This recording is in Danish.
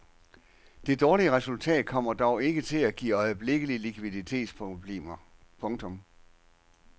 Det dårlige resultat kommer dog ikke til at give øjeblikkelige likviditetsproblemer. punktum